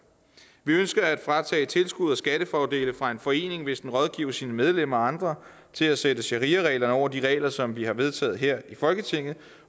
vi ønsker at tage tilskud og skattefordele fra en forening hvis den rådgiver sine medlemmer og andre til at sætte shariareglerne over de regler som vi har vedtaget her i folketinget